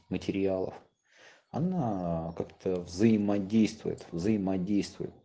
материалов она как-то взаимодействует взаимодействует